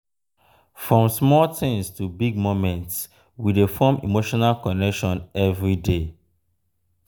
from small things to big moments we dey form emotional connection everyday.